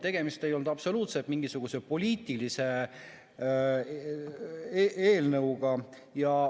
Tegemist ei olnud üldse mingisuguse poliitilise eelnõuga.